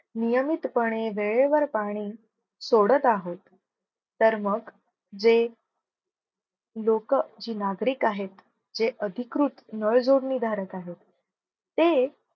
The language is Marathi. नियमितपणे वेळेवर पाणी सोडत आहोत. तर, मग जे लोक जी नागरिक आहेत. जे अधिकृत नळ जोडणी धारक आहेत. ते